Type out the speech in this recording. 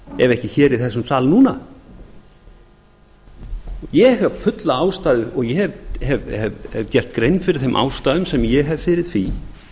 ef ekki hér í þessum sal núna ég hef fulla ástæðu og ég hef gert grein fyrir þeim ástæðum sem ég hef fyrir því